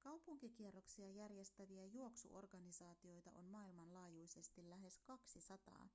kaupunkikierroksia järjestäviä juoksuorganisaatioita on maailmanlaajuisesti lähes 200